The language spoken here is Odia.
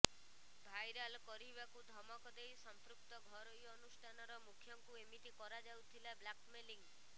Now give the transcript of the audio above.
ଭାଇରାଲ କରିବାକୁ ଧମକ ଦେଇ ସମ୍ପୃକ୍ତ ଘରୋଇ ଅନୁଷ୍ଠାନର ମୁଖ୍ୟଙ୍କୁ ଏମିତି କରାଯାଉଥିଲା ବ୍ଲାକମେଲିଂ